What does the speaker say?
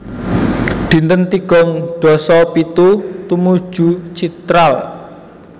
Dinten tigang dasa pitu Tumuju Chitral